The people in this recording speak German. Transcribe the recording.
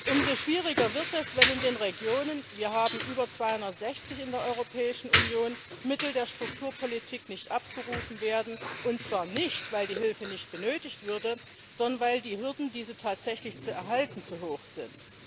Umso schwieriger wird es, wenn in den Regionen wir haben über 260 in der Europäischen Union Mittel der Strukturpolitik nicht abgerufen werden, und zwar nicht, weil die Hilfe nicht benötigt würde, sondern weil die Hürden, diese tatsächlich zu erhalten, zu hoch sind.